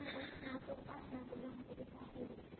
চাকরি দিচ্ছে না